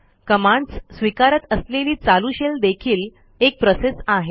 commands स्विकारत असलेली चालू शेल देखील एक प्रोसेस आहे